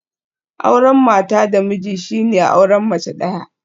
Auren mata da miji shine auren mace daya